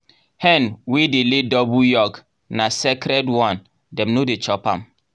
hen wey dey lay double yolk na sacred one dem no dey chop am.